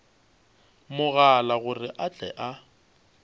mogala gore a tle a